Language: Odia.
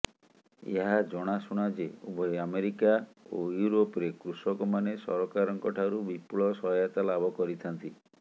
ଏହା ଜଣାଶୁଣା ଯେ ଉଭୟ ଆମେରିକା ଓ ଇଉରୋପରେ କୃଷକମାନେ ସରକାରଙ୍କଠାରୁ ବିପୁଳ ସହାୟତା ଲାଭ କରିଥାନ୍ତି